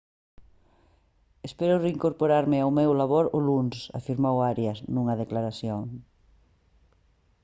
«espero reincorporarme ao meu labor o luns» afirmou arias nunha declaración